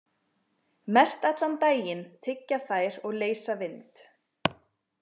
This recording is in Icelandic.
Mestallan daginn tyggja þær og leysa vind.